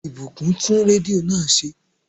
Ìbùkún tún rédíò náà ṣe